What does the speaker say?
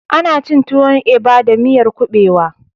Ana cin tuwon eba da miyar ƙuɓewa